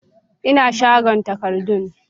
Ina shagon takardun